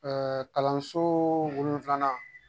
kalanso wolonfilanan